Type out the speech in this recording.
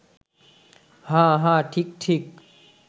হাঁ হাঁ, ঠিক ঠিক